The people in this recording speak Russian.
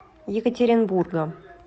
екатеринбурга